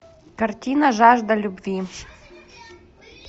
картина жажда любви